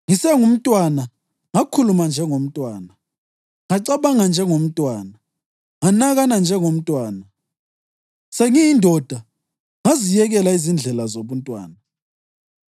Ngisesengumntwana, ngakhuluma njengomntwana, ngacabanga njengomntwana, nganakana njengomntwana. Sengiyindoda, ngaziyekela izindlela zobuntwana.